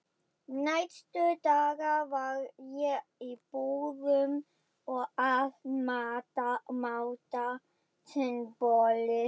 Næstu daga var ég í búðum að máta sundboli.